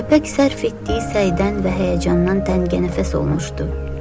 Köpək sərf etdiyi səydən və həyəcandan təngə nəfəs olmuşdu.